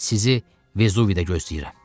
Sizi Vezuvidə gözləyirəm.